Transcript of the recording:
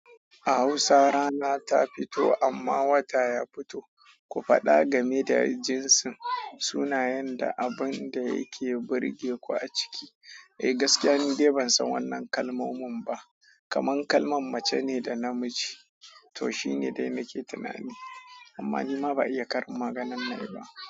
A Hausa rana ta fito amma wata ya fito. Ku faɗa game da jinsin, sunayen da abun da yake burge ku a ciki. Eh gaskiya ni dai ban san wannan kalmomin ba. Kaman kalman mace ne da namiji to shine dai nake tunani. Amma nima ba iya karin maganan nayi ba.